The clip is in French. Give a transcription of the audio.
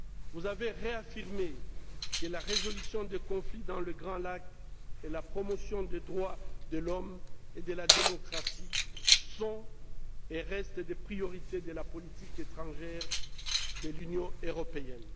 Vous avez réaffirmé que la résolution des conflits dans les Grands Lacs et la promotion des droits de l'homme et de la démocratie sont et restent des priorités de la politique étrangère de l'Union européenne.